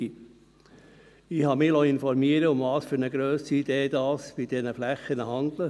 Ich habe mich informieren lassen, um welche Grösse es sich bei diesen Flächen handelt.